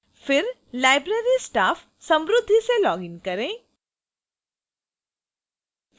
फिर library staff samruddhi से login करें